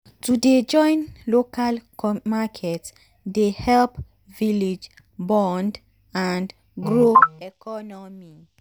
to dey join local market dey help village bond and grow economy.